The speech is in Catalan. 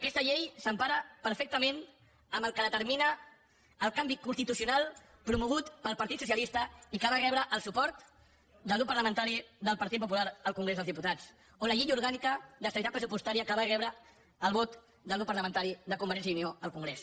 aquesta llei s’empara perfectament amb el que determina el canvi constitucional promogut pel partit socialista i que va rebre el suport del grup parlamentari del partit popular al congrés dels diputats on la llei orgànica d’estabilitat pressupostària va rebre el vot del grup parlamentari de convergència i unió al congrés